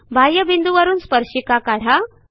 बाह्यबिंदूवरून स्पर्शिका काढा